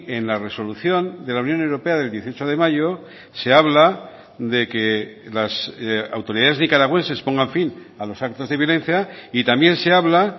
en la resolución de la unión europea del dieciocho de mayo se habla de que las autoridades nicaragüenses pongan fin a los actos de violencia y también se habla